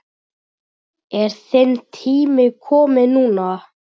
Er þinn tími kominn núna?